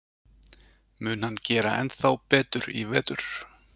Mun hann gera ennþá betur í vetur?